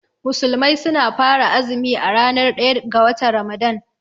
Musulmai suna fara azumi a ranar ɗaya ga watan Ramadan.